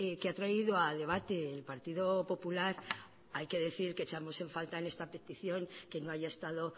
que ha traído a debate el partido popular hay que decir que echamos en falta en esta petición que no haya estado